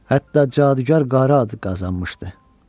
Hətta cadügar qara ad qazanmışdı.